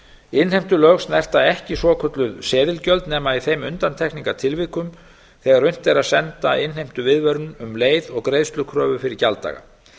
innheimtulög snerta ekki svokölluð seðilgjöld nema í þeim undantekningartilvikum þegar unnt er að senda innheimtuviðvörun um leið og greiðslukröfu fyrir gjalddaga